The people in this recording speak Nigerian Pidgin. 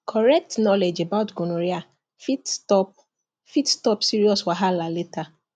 correct knowledge about gonorrhea fit stop fit stop serious wahala later